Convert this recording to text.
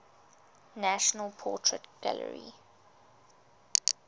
national portrait gallery